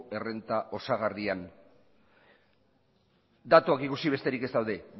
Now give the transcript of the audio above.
errenta osagarrian datuak ikusi besterik ez daude